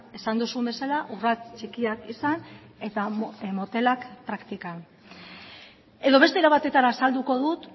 esan duzun bezala urrats txikiak izan eta motelak praktikan edo beste era batetara azalduko dut